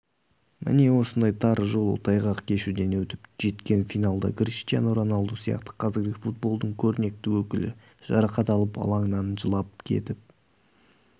міне осындай тар жол тайғақ кешуден өтіп жеткен финалда криштиану роналду сияқты қазіргі футболдың көрнекті өкілі жарақат алып алаңнан жылап кетіп